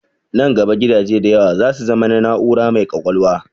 Nan gaba gidaje da yawa za su zama na na'ura mai ƙwaƙwalwa.